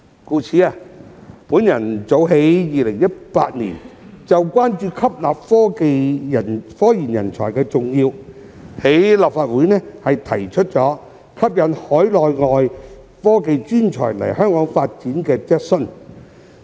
故此，我早在2018年關注到吸納科研人才的重要性，在立法會提出關於吸引海內外科技專才來港發展的質詢。